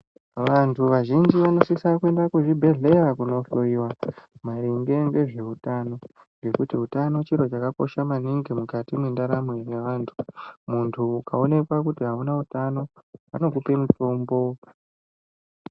Vantu vazhinji vanosisa kuenda kuzvibhehleya kunohloyiwa maringe ngezveutano ngekuti utano chiro chakakosha maningi mukati mwendaramo yevanhu ,munhu ukaonekwa kuti auna utano vanokupe mutombo.